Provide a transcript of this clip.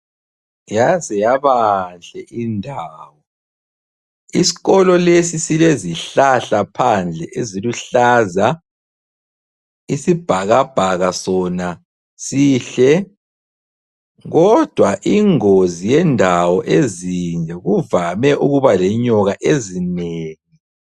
Yaze yabanhle indawo. Isikolo lesi silezihlahla phandle eziluhlaza, isibhakabhaka sona sihle kodwa ingozi yendawo ezinje kuvame ukuba lenyoka ezinengi.